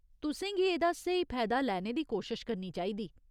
तुसें गी एह्दा स्हेई फैदा लैने दी कोशश करनी चाहिदी।